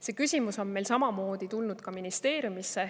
See küsimus on meil samamoodi ministeeriumis laual.